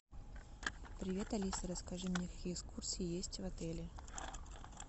привет алиса расскажи мне какие экскурсии есть в отеле